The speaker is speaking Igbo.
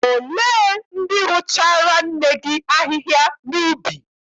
Olee ndị rụchaara nne gị ahịhịa n'ubi?